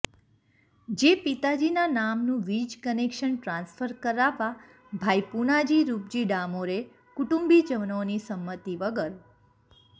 જે પિતાજીના નામનું વિજ કનેકશન ટ્રાન્સફર કરાવવા ભાઇ પુનાજી રૂપજી ડામોરે કુટુંબીજનોની સંમતિ વગર તા